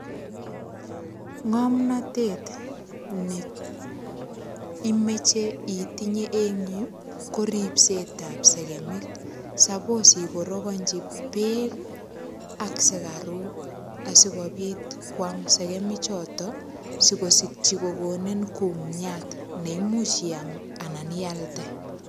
Ngomnotet neimoche itinye eng Yu ko ripset ap sekemik sapos ikorokonchi beek ak sikaruk asikobit koam sekemik chotok sikosikchi kokonin kumiat neimuch iyam anan ialde.